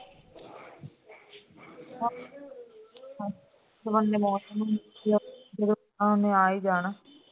ਮੌਸਮ ਨੇ ਆ ਹੀ ਜਾਣਾ ਹੈ